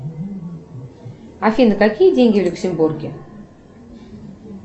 афина какие деньги в люксембурге